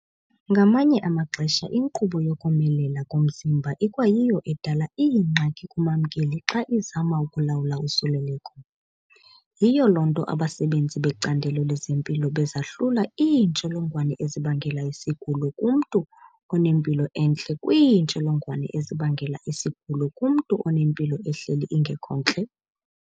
Ngamanye amaxesha inkqubo yokomelela komzimba ikwayiyo edala iingxaki kumamkeli xa izama ukulawula usuleleko. Yiyo loo nto abasebenzi becandelo lezempilo bezahlula iintsholongwane ezibangela isigulo kumntu onempilo entle kwiintsholongwane ezibangela isigulo kumntu onempilo ehleli ingekhontle.